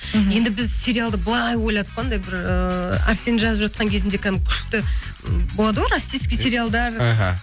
мхм енді біз сериалды былай ойладық қой анандай бір ыыы арсен жазып жатқан кезінде кәдімгі күшті болады ғой россииский сериалдар іхі